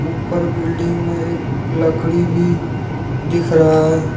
ऊपर बिल्डिंग में एक लकड़ी भी दिख रहा है।